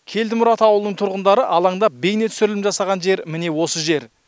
келдімұрат ауылының тұрғындары алаңдап бейнетүсірілім жасаған жер міне осы жер